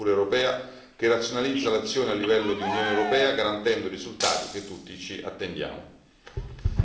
Ben venga quindi uno strumento come la procura europea che razionalizza l'azione a livello di Unione europea garantendo i risultati che tutti ci attendiamo.